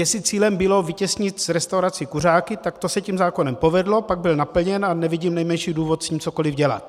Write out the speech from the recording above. Jestli cílem bylo vytěsnit z restaurací kuřáky, tak to se tím zákonem povedlo, pak byl naplněn a nevidím nejmenší důvod s tím cokoli dělat.